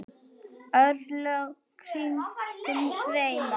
örlög kringum sveima